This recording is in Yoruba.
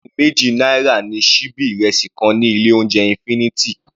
Ọgọrun méjì náírà ni síbí ìrẹsì kan ní ilé oúnjẹ infinity.